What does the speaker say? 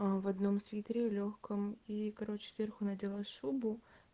в одном свитере лёгком и короче сверху надела шубу